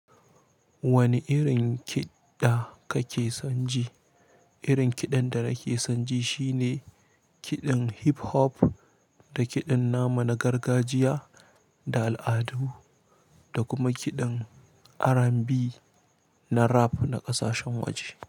Wani irin kiɗa kake son ji? Irin kiɗan da nake son ji shine kiɗan hip hop da kiɗan nama na gargajiya da al'adu da kuma kiɗan R&B na rap na ƙasashen waje.